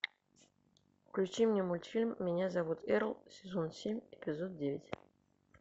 включи мне мультфильм меня зовут эрл сезон семь эпизод девять